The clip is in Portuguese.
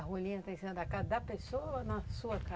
A rolinha está em cima da casa da pessoa ou na sua casa?